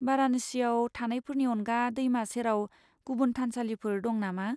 बाराणसियाव थानायफोरनि अनगा दैमा सेराव गुबुन थानसालिफोर दं नामा?